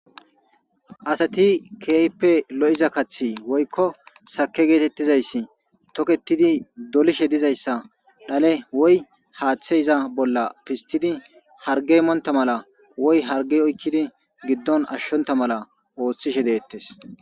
asati keyppe lo7iza kathi woykko sake geetettizayssi toketidi dolishe dizayssa dhale woy haaththe iza bolla pistidi harge monta mala woy harge oykkidi giddon ashshonta mala ooththishe deettes